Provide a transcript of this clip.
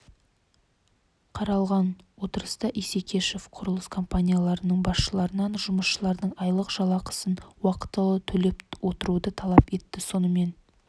қаралған отырыста исекешев құрылыс компанияларының басшыларынан жұмысшылардың айлық жалақысын уақытылы төлеп отыруды талап етті сонымен